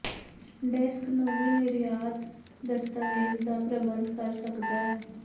desk ਨੂੰ ਵੀ ਨਿਰਯਾਤ ਦਸਤਾਵੇਜ਼ ਦਾ ਪ੍ਰਬੰਧ ਕਰ ਸਕਦਾ ਹੈ